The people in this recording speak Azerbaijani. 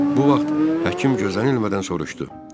Bu vaxt həkim gözlənilmədən soruşdu.